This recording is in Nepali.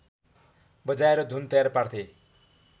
बजाएर धुन तयार पार्थे